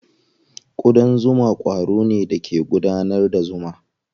Ƙudan zuma ƙwaro ne da ke gudanar da zuma.